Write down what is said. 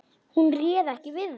Hún réð ekki við þá.